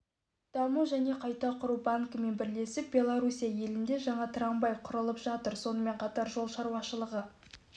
даму және қайта құру банкімен бірлесіп белоруссия елінде жаңа трамвай құралып жатыр сонымен қатар жол шаруашылығы